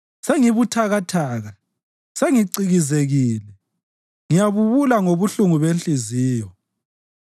Sengibuthakathaka, sengicikizekile; ngiyabubula ngobuhlungu benhliziyo.